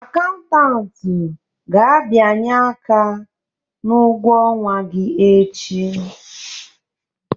Akaụntụ ga-abịanye aka na ụgwọ ọnwa gị echi